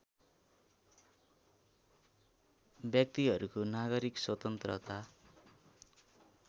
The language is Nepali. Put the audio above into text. व्यक्तिहरूको नागरिक स्वतन्त्रता